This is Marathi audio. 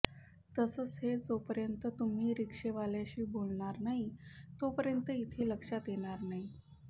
तसंच हे जोपर्यंत तुम्ही रिक्षेवाल्याशी बोलणार नाही तोपर्यंत इथे लक्षात येणार नाही